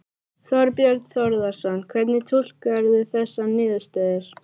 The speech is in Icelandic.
Þorbjörn Þórðarson: Hvernig túlkarðu þessar niðurstöður?